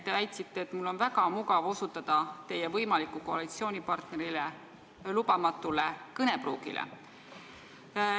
Te väitsite, et mul on väga mugav osutada teie võimaliku koalitsioonipartneri lubamatule kõnepruugile.